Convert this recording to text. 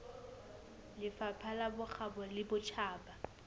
lefapha la bokgabo le botjhaba